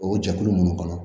O jɛkulu ninnu kɔnɔ